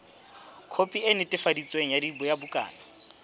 khopi e netefaditsweng ya bukana